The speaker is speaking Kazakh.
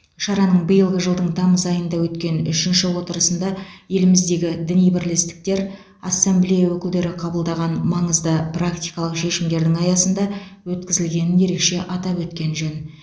шараның биылғы жылдың тамыз айында өткен үшінші отырысында еліміздегі діни бірлестіктер ассамблея өкілдері қабылдаған маңызды практикалық шешімдердің аясында өткізілгенін ерекше атап өткен жөн